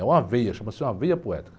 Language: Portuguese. É uma veia, chama-se uma veia poética.